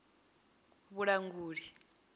vhulanguli